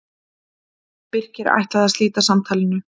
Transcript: Birkir ætlaði að slíta samtalinu.